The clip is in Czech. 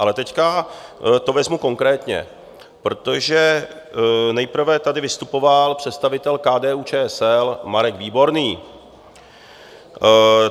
Ale teď to vezmu konkrétně, protože nejprve tady vystupoval představitel KDU-ČSL Marek Výborný.